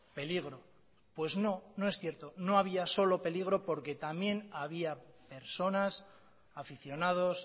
peligro pues no no es cierto no había solo peligro porque también había personas aficionados